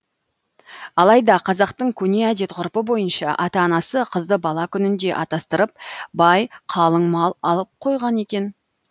алайда қазақтың көне әдет ғұрпы бойынша ата анасы қызды бала күнінде атастырып бай қалың мал алып қойған екен